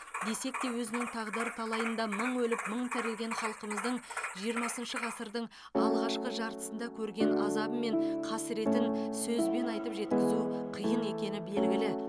десек те өзінің тағдыр талайында мың өліп мың тірілген халқымыздың жиырмасыншы ғасырдың алғашқы жартысында көрген азабы мен қасіретін сөзбен айтып жеткізу қиын екені белгілі